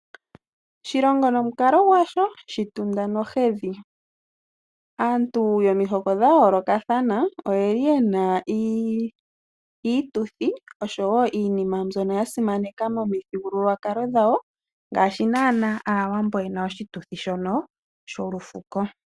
Oshitunda nohedhi, oshilongo nomukalo gwasho. Aantu yomihoko dhayoolokathana oye na iituthi oshowo iinima mbyono yasimaneka momithigululwakalo dhawo ngaashi naanaa Aawambo yena oshituthi shono sholufuko.